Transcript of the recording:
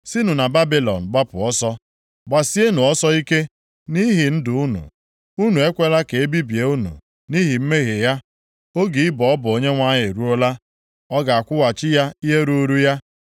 “Sinụ na Babilọn gbapụ ọsọ. Gbasienụ ọsọ ike nʼihi ndụ unu. Unu ekwela ka e bibie unu nʼihi mmehie ya. Oge ịbọ ọbọ Onyenwe anyị eruola, ọ ga-akwụghachi ya ihe ruuru ya.